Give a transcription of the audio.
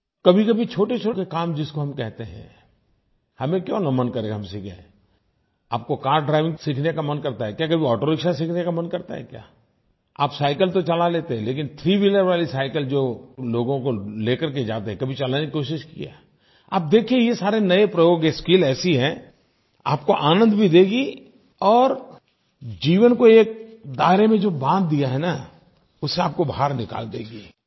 कभीकभी छोटेछोटे काम जिसको हम कहते हैं हमें क्यों न मन करे हम सीखें आपको कार ड्राइविंग तो सीखने का मन करता है क्या कभी ऑटोरिक्शा सीखने का मन करता है क्या आप साइकिल तो चला लेते हैं लेकिन थ्रीव्हीलर वाली साइकिल जो लोगों को ले कर के जाते हैं कभी चलाने की कोशिश की है क्या आप देखें ये सारे नये प्रयोग ये स्किल ऐसी है आपको आनंद भी देगी और जीवन को एक दायरे में जो बाँध दिया है न उससे आपको बाहर निकाल देगी